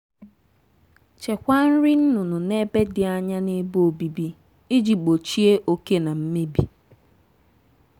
chekwaa nri nnụnụ n'ebe dị anya na ebe obibi iji gbochie oke na mmebi.